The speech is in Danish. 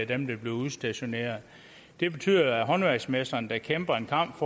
dem der bliver udstationeret det betyder at håndværksmesteren der kæmper en kamp